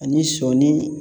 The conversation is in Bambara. Ani sɔni